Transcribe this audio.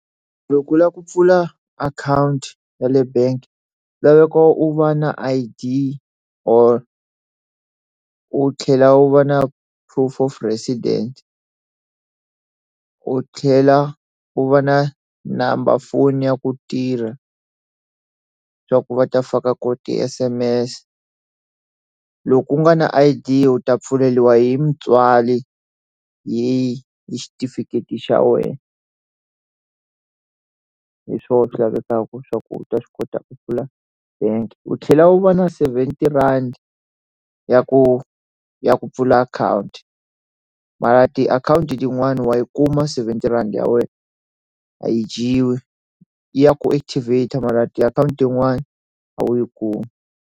Loko u lava ku pfula akhawunti ya le bangi na loko u va na I_D or u tlhela u va na proof of resident u tlhela u va na namba foni ya ku tirha swa ku va ta faka koho ti S_M_S loko ku nga na I_D u ta pfaleriwa hi mutswari hi xitifiketi xa wena hi swoho swi lavekaka swa ku u ta swi kota ku pfula bangi u tlhela u va na seventy rhandi ya ku ya ku pfula akhawunti mara ti akhawunti tin'wani wa yi kuma seventy rhandi ya wena a yi dyiwi ya ku active mara ti akhawunti tin'wani a wu yi kumi.